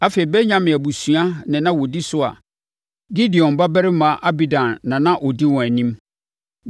afei, Benyamin abusuakuo na na wɔdi so a Gideoni babarima Abidan na na ɔdi wɔn anim.